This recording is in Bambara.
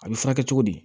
A bɛ furakɛ cogo di